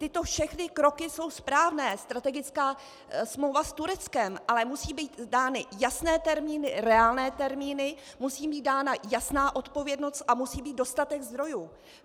Tyto všechny kroky jsou správné, strategická smlouva s Tureckem, ale musí být dány jasné termíny, reálné termíny, musí být dána jasná odpovědnost a musí být dostatek zdrojů.